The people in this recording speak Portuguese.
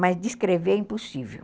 Mas descrever é impossível.